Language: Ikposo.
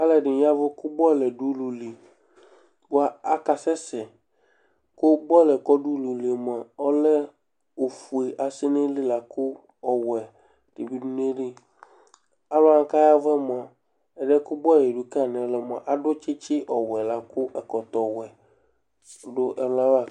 Aluɛɖìŋí yavʋ kʋ bɔluɛ ɖʋ ʋlʋli bʋa aka sɛsɛ Bɔluɛ kʋ ɔɖʋ ʋlʋlie mʋa ɔlɛ ɔfʋe asɛ ŋu ayìlí lakʋ ɔwɛ bi ɖʋ ŋu ayìlí Alʋwani kʋ ayavʋɛ mʋa, ɛdiɛ kʋ bɔluɛ ɛlika ŋu ɛlu mʋa aɖu tsitsi ɔwɛ lakʋ ɛkɔtɔ ɔwɛ ɔɖu ɛlu ava